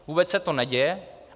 Vůbec se to neděje.